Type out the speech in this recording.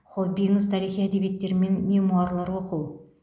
хоббиіңіз тарихи әдебиеттер мен мемуарлар оқу